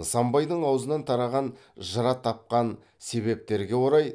нысанбайдың аузынан тараған жыратапқан себептерге орай